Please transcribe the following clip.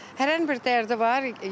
Hərənin bir dərdi var.